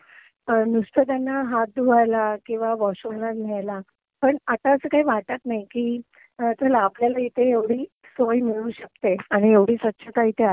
नुसतं त्यांना हात धुवायला किंवा वॉशरूमला न्यायला. पण आता आस काई वाटत नाई की चला, आपल्याला इथे एवढी सोय मिळू शकते आणि एवढी स्वच्छता तिथे असेल